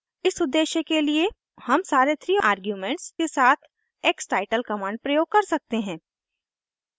इस उद्देश्य के लिए हम सारे 3 आर्ग्यूमेंट्स के साथ xtitle कमांड प्रयोग कर सकते हैं